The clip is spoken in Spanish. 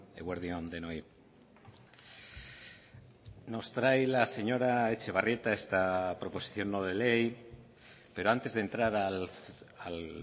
eguerdi on denoi nos trae la señora etxebarrieta esta proposición no de ley pero antes de entrar al